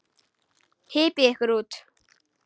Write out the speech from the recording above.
Hypjið ykkur út.